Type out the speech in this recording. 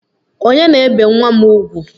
Onye na-ebe nwa m ugwu?